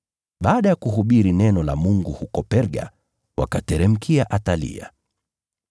Baada ya kuhubiri neno la Mungu huko Perga, wakateremkia Atalia.